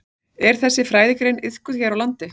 Er þessi fræðigrein iðkuð hér á landi?